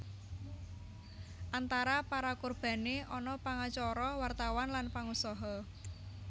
Antara para korbané ana pangacara wartawan lan pangusaha